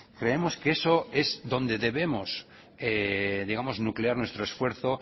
creemos que eso es donde debemos digamos nuclear nuestro esfuerzo